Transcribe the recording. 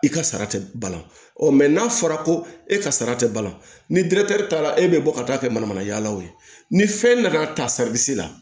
I ka sara tɛ balan n'a fɔra ko e ka sara tɛ balan ni taara e bɛ bɔ ka taa kɛ manamana ye o ye ni fɛn nana ta la